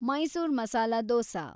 Mysore masala dosa